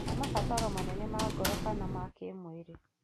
kana mabataro manene ma ngoro kana ma kĩĩmwĩrĩ.